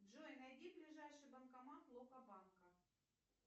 джой найди ближайший банкомат локо банка